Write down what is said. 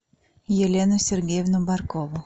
елену сергеевну баркову